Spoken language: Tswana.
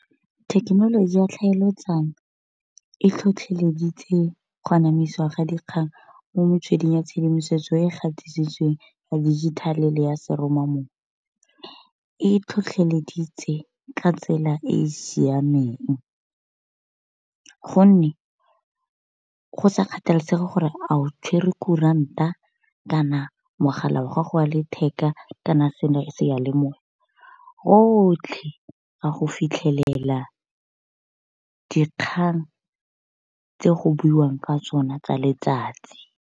Thekenoloji ya tlhaeletsano e tlhotlheleditse go anamisiwa ga dikgang mo metsweding ya tshedimosetso e e gatisitsweng ya dijithale le ya seromamowa. E e tlhotlheleditse ka tsela e e siameng, gonne go sa kgathalesege gore a o tshwerwe kuranta kana mogala wa gago wa letheka kana seyalemoya rotlhe ga go fitlhelela dikgang tse go buiwang ka sona tsa letsatsi.